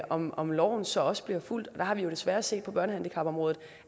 om om loven så også bliver fulgt vi har jo desværre set på børnehandicapområdet